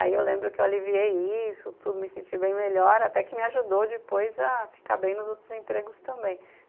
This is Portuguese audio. Aí eu lembro que eu aliviei isso, tudo, me senti bem melhor, até que me ajudou depois a ficar bem nos outros empregos também.